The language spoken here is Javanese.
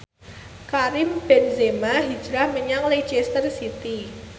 Karim Benzema hijrah menyang Leicester City